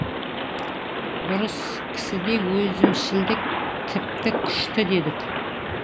дұрыс кісіде өзімшілдік тіпті күшті дедік